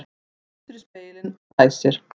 Lítur í spegilinn og dæsir.